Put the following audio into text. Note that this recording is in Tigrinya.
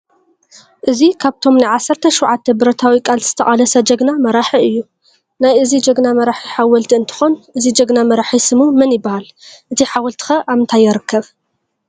እዚ ካብቶም ናይ ዓሰርተ ሸውዓተ ብረታዊ ቃልሲ ዝተቃለሰ ጅግና መራሒ እዩ። ናይ እዚ ጅግና መራሒ ሓወልቲ እንትኮን እዚ ጅግና መራሒ ስሙ መን ይባሃል? እቲ ሓወልቲ ከ ኣበይ ይርከብ?